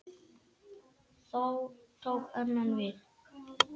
Þá tók annað við.